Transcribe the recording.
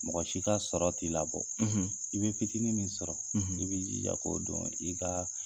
Mɔgɔ si ka sɔrɔ t'i labɔ i bɛ fitiinin min sɔrɔ i b'i jija k'o dɔn i ka